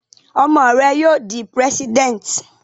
Ọmọ rẹ yóò dí President!